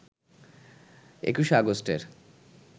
২১ আগস্টের